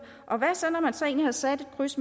og hvad så når man så egentlig har sat et kryds